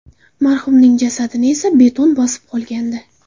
Marhumning jasadini esa beton bosib qolgandi.